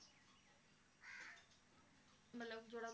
ਮਤਲਬ ਜਿਹੜਾ